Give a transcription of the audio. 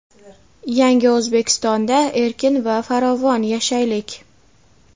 Yangi O‘zbekistonda erkin va farovon yashaylik.